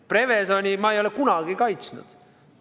Prevezoni ei ole ma kunagi kaitsnud.